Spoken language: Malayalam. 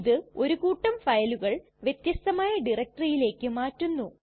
ഇത് ഒരു കൂട്ടം ഫയലുകൾ വ്യത്യസ്തമായ ഡയറക്ടറിയിലേക്ക് മാറ്റുന്നു